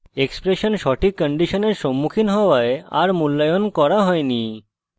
expression সঠিক condition সম্মুখীন হওয়ায় a মূল্যায়ন করা হয়নি